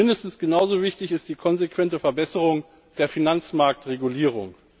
Mindestens genau so wichtig ist die konsequente Verbesserung der Finanzmarktregulierung.